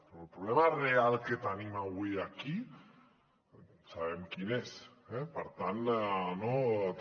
però el problema real que tenim avui aquí sabem quin és eh per tant no també